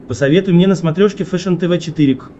посоветуй мне на смотрешке фэшен тв четыре к